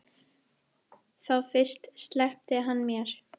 Þá fyrst sleppti hann mér.